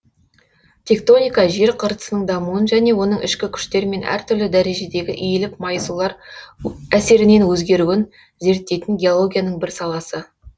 тектоника жер қыртысының дамуын және оның ішкі күштер мен әртүрлі дәрежедегі иіліп майысулар өсерінен өзгеруін зерттейтін геологияның бір саласы